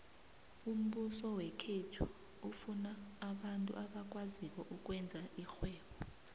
umbuso wekhethu ufuna abantu abakwaziko ukwenza irhwebo